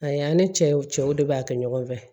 A y'an ni cɛw cɛw de b'a kɛ ɲɔgɔn fɛ